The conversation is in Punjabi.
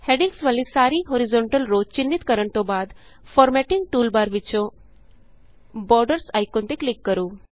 ਹੈਡਿੰਗਸ ਵਾਲੀ ਸਾਰੀ ਹੋਰੀਜ਼ੋਂਟਲ ਰੋਅ ਚਿੰਨ੍ਹਿਤ ਕਰਨ ਤੋਂ ਬਾਅਦ ਫਾਰਮੈੱਟਿੰਗ ਟੂਲਬਾਰ ਵਿਚੋਂ ਬੋਰਡਰਜ਼ ਆਈਕੋਨ ਤੇ ਕਲਿਕ ਕਰੋ